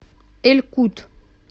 эль кут